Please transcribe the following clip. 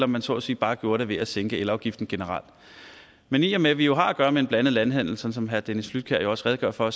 man så at sige bare gjorde det ved at sænke elafgiften generelt men i og med vi jo har at gøre med en blandet landhandel som som herre dennis flydtkjær jo også redegjorde for